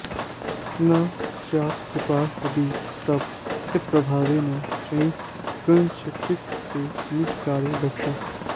न स्यात्कृपा यदि तव प्रकटप्रभावे न स्युः कथंचिदपि ते निजकार्यदक्षाः